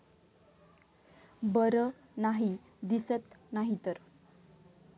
बर नाही दिसत नाहीतर!